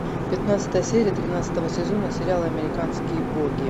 пятнадцатая серия тринадцатого сезона сериала американские боги